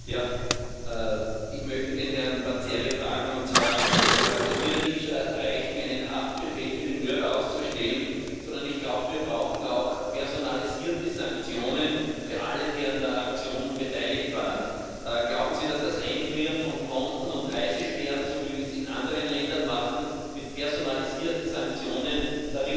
Ich möchte Herrn Panzeri Folgendes fragen Es wird ja nicht reichen, einen Haftbefehl für die Mörder auszustellen, sondern ich glaube, wir brauchen auch personalisierte Sanktionen für alle, die an der Aktion beteiligt waren. Glauben Sie, dass das Einfrieren von Konten und Reisesperren, so wie wir es in anderen Ländern machen, mit personalisierten Sanktionen der richtige Ansatz